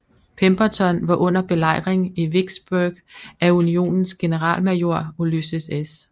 Pemberton var under belejring i Vicksburg af unionens generalmajor Ulysses S